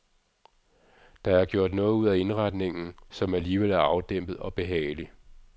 Der er gjort noget ud af indretningen, som alligevel er afdæmpet og behagelig.